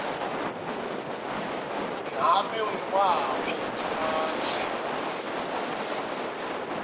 ngabe nguwaphi emandla